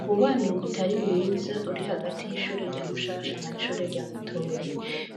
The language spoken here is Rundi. Umubano utari mwiza uri hagati y' ishure rya Mushasha n' ishure rya Mutoyi,